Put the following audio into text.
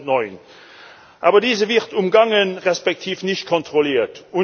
2009. Aber diese wird umgangen respektive nicht kontrolliert.